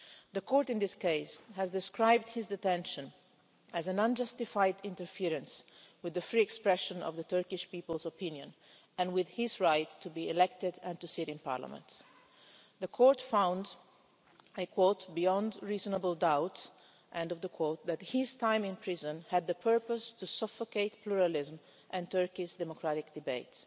The Court in this case has described his detention as an unjustified interference with the free expression of the Turkish people's opinion and with his right to be elected and to sit in Parliament. The Court found, beyond reasonable doubt' that his time in prison had the purpose to suffocate pluralism and Turkey's democratic debate.